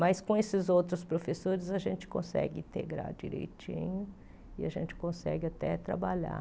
Mas com esses outros professores a gente consegue integrar direitinho e a gente consegue até trabalhar.